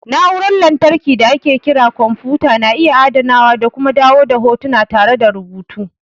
Na'urar lantarki da ake kira kwamfuta na iya adanawa da kuma dawo da hotuna tare da rubutu.